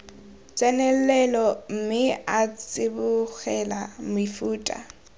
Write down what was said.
tsenelelo mme a tsibogela mefuta